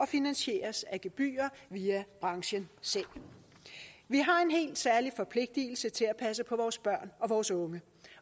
finansieres af gebyrer via branchen selv vi har en helt særlig forpligtelse til at passe på vores børn og vores unge